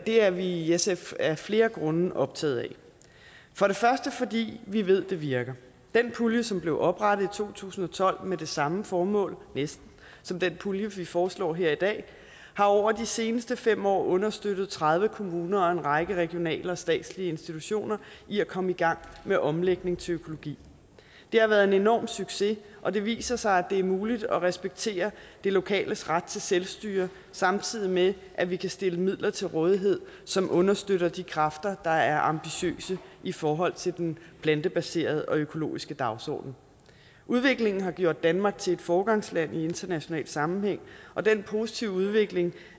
er vi i sf af flere grunde optaget af for det første fordi vi ved at det virker den pulje som blev oprettet i to tusind og tolv med det samme formål næsten som den pulje vi foreslår her i dag har over de seneste fem år understøttet tredive kommuner og en række regionale og statslige institutioner i at komme i gang med omlægning til økologi det har været en enorm succes og det viser sig at det er muligt at respektere det lokales ret til selvstyre samtidig med at vi kan stille midler til rådighed som understøtter de kræfter der er ambitiøse i forhold til den plantebaserede og økologiske dagsorden udviklingen har gjort danmark til et foregangsland i international sammenhæng og den positive udvikling